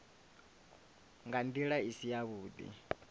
nga nḓila i si yavhuḓi